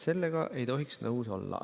Sellega ei tohiks nõus olla.